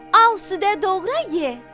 Al südə doğra ye!